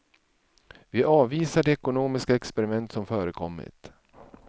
Vi avvisar de ekonomiska experiment som förekommit.